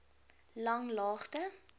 langlaagte